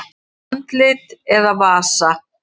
Andlit eða vasa?